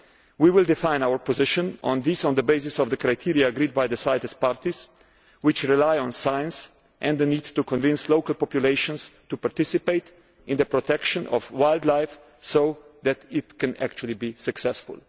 COP. We will define our position on these on the basis of the criteria agreed by the CITES parties, which rely on science and the need to convince local populations to participate in the protection of wildlife so that it can actually be successful.